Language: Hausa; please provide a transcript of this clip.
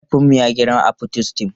Mahaifinmu ya girma a Potistum.